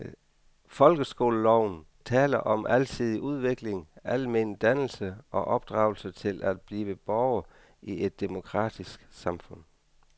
Folkeskoleloven taler om alsidig udvikling, almen dannelse og opdragelse til at blive borger i et demokratisk samfund.